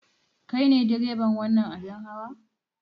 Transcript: Kai ne direban wannan abin hawa?